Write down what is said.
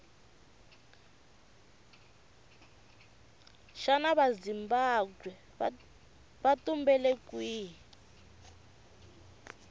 shana vazimbabwe vatumbele kwihhi